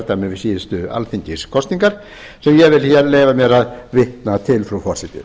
við síðustu alþingiskosningar sem ég vil leyfa mér að vitna til frú forseti